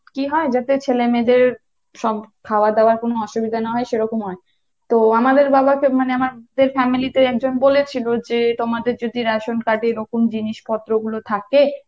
কী হয় যাতে ছেলেমেয়েদের সব খাওয়াদাওয়ার কোনো অসুবিধা না হয় সেরকম হয়, তো আমাদের বাবাকে মানে আমার family কে বলেছিলো যে তোমাদের যদি ration card এর এরকম জিনিসপত্র গুলো থাকে